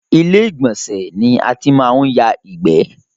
Ilé ìgbọ̀nsẹ̀ ni a ti máa ń ya ìgbẹ́